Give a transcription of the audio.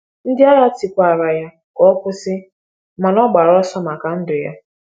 Ndị agha tikwara ya ka ọ kwụsị, mana ọ gbara ọsọ maka ndụ ya.